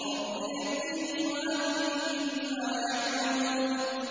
رَبِّ نَجِّنِي وَأَهْلِي مِمَّا يَعْمَلُونَ